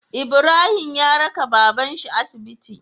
Ibrahim ya raka baban shi asibiti